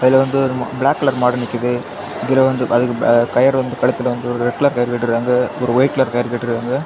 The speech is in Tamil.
இதுல வந்து ஒரு பிளாக் கலர் மாடு நிக்குது இதுல வந்து அதுக்கு கயிறு வந்து கழுத்துல வந்து ஒரு ரெட் கலர் கயறு கட்டி இருக்காங்க ஒரு ஒயிட் கலர் கயறு கட்டி இருக்காங்க.